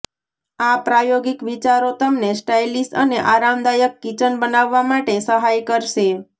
આ પ્રાયોગિક વિચારો તમને સ્ટાઇલિશ અને આરામદાયક કિચન બનાવવા માટે સહાય કરશે